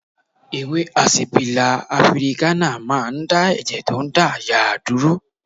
Ewé àsìpílà afirikánà máa ń dá ẹ̀jẹ̀ tó ń dà yàà dúró